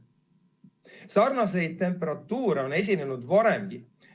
Sarnaseid temperatuure on esinenud varemgi.